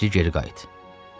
Təcili geri qayıt.